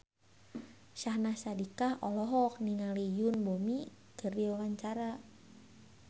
Syahnaz Sadiqah olohok ningali Yoon Bomi keur diwawancara